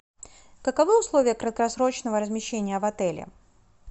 каковы условия краткосрочного размещения в отеле